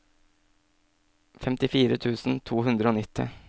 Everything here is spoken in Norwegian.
femtifire tusen to hundre og nitti